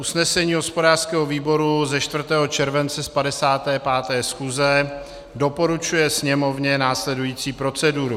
Usnesení hospodářského výboru ze 4. července z 55. schůze doporučuje Sněmovně následující proceduru: